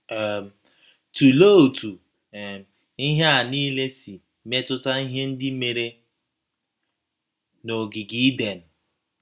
um Tụlee otú um ihe a nile si metụta ihe ndị mere n’ogige Iden..